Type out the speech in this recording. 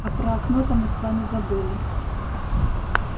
а про окно то мы с вами забыли